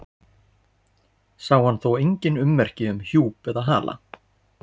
Sá hann þó engin merki um hjúp eða hala.